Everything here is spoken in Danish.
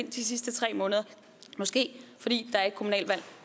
de sidste tre måneder måske er fordi der er et kommunalvalg